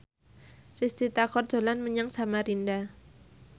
Risty Tagor dolan menyang Samarinda